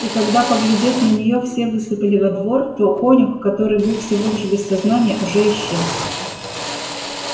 и когда поглядев на неё все высыпали во двор то конюх который был всего лишь без сознания уже исчез